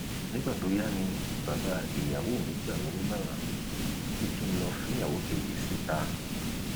nígbà tó yá ni bàbá ìyàwó mi gbà mí nímọràn pé kí n lọọ fẹyàwó kejì síta